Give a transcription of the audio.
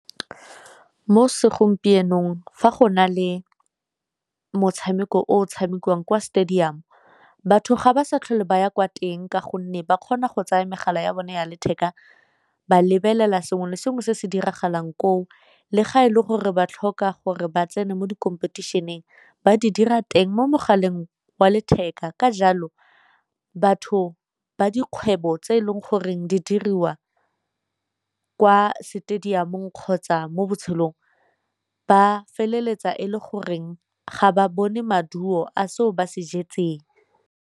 Mo segompienong fa go na le motshameko o tshamekiwang kwa stadium, batho ga ba sa tlhole ba ya kwa teng ka gonne ba kgona go tsaya megala ya bone ya letheka ba lebelela sengwe le sengwe se se diragalang koo le ga e le gore ba tlhoka gore ba tsene mo di competition-eng ba di dira teng mo mogaleng wa letheka. Ka jalo batho ba dikgwebo tse e leng goreng di diriwa kwa stadium-ong kgotsa mo botshelong ba feleletsa e le goreng ga ba bone maduo a seo ba se.